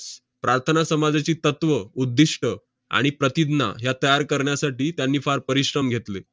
प्रार्थना समाजाची तत्त्व, उद्दिष्ट आणि प्रतिज्ञा ह्या तयार करण्यासाठी त्यांनी फार परिश्रम घेतले.